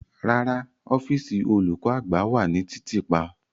Rara, ọfiisi olukọ-agba wa ni titiipa.